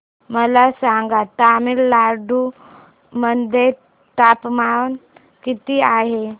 मला सांगा तमिळनाडू मध्ये तापमान किती आहे